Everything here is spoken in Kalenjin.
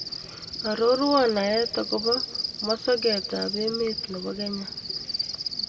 Aroruon naet ago po musogetap emet ne po Kenya